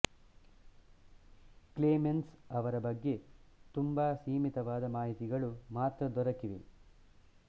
claimants ಅವರ ಬಗ್ಗೆ ತುಂಬ ಸೀಮಿತವಾದ ಮಾಹಿತಿಗಳು ಮಾತ್ರ ದೊರಕಿವೆ